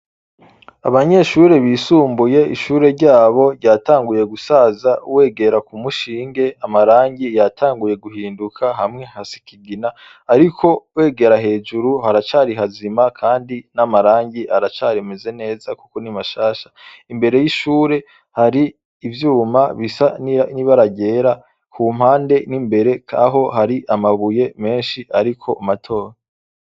Abanyeshure bisumbuye ishure ryabo ryatanguye gusaza wegera kumushinge amarangi yatanguye guhinduka hamwe hasa ikigina Ariko wegera hejuru haracari hazima kandi amarangi aracamez neza kuko ni mashasha imbere yishure hari ivyuma bisa n'ibara ryera kumpande nimbere aho hari amabuye menshi Ariko naho matoyi.